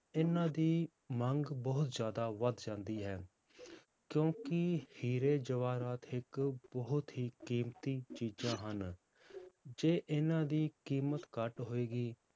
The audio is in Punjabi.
ਇਹਨਾਂ ਦੀ ਮੰਗ ਬਹੁਤ ਜ਼ਿਆਦਾ ਵੱਧ ਜਾਂਦੀ ਹੈ, ਕਿਉਂਕਿ ਹੀਰੇ ਜਵਾਹਰਾਤ ਇੱਕ ਬਹੁਤ ਹੀ ਕੀਮਤੀ ਚੀਜ਼ਾਂ ਹਨ ਜੇ ਇਹਨਾਂ ਦੀ ਕੀਮਤ ਘੱਟ ਹੋਏਗੀ।